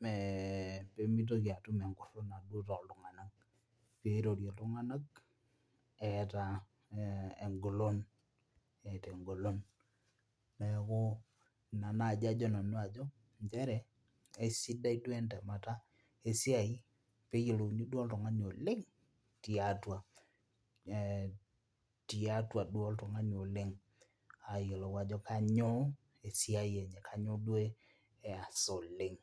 meh pemitoki atum enkurruna duo toltung'anak pirorie iltung'anak eeta eh engolon eeta engolon neeku ina naaji ajo nanu ajo nchere kaisidai duo entemata esiai peyiouni duo oltung'ani oleng tiatua eh tiatua duo oltung'anin oleng ayiolou ajo kanyoo esiai enye kanyoo duo easa oleng.